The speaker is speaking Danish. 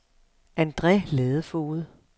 Andre Ladefoged